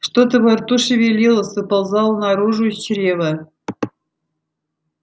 что-то во рту шевелилось выползало наружу из чрева